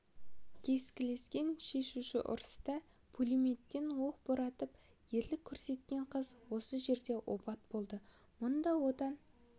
кескілескен шешуші ұрыста пулеметтен оқ боратып ерлік көрсеткен қыз осы жерде опат болды мұнда отан